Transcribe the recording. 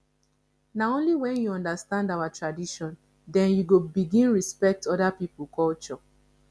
na only wen you understand our tradition dem you go begin respect oda pipo culture